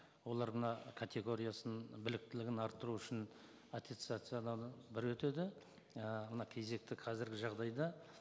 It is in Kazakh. олар мына категориясын біліктілігін арттыру үшін аттестациядан бір өтеді і мына кезекті қазіргі жағдайда